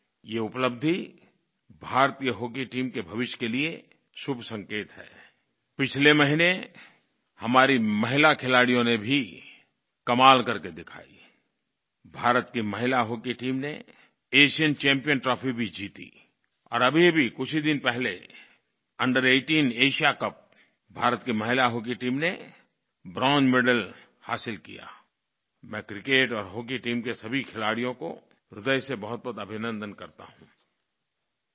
ये उपलब्धि भारतीय हॉकी टीम के भविष्य के लिये शुभ संकेत हैआई पिछले महीने हमारी महिला खिलाड़ियों ने भी कमाल करके दिखायाआई भारत की महिला हॉकी टीम ने एशियन चैम्पियंस ट्रॉफी भी जीती और अभीअभी कुछ ही दिन पहले अंडर 18 एएसआईए कप भारत की महिला हॉकी टीम ने ब्रोंज मेडल हासिल कियाआई मैं क्रिकेट और हॉकी टीम के सभी खिलाड़ियों को ह्रदय से बहुतबहुत अभिनन्दन करता हूँआई